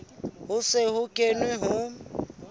ho se ho kenwe ho